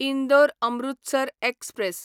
Indore Amritsar express